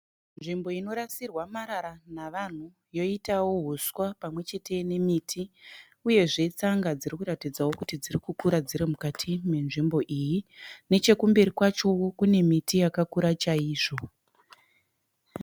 Nzvimbo inorasirwa marara navanhu yoitawo huswa pamwechete nemiti uyezve tsanga dziri kuratidzawo kuti dziri kukura dziri mukati menzvimbo iyi. Nechekumberi kwachowo kune miti yakakura chaizvo.